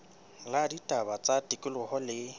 la ditaba tsa tikoloho le